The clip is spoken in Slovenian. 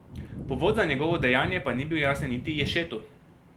Povod za njegovo dejanje pa ni bil jasen niti Ješetu.